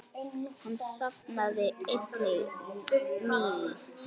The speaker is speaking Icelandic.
Hann safnaði einnig nýlist.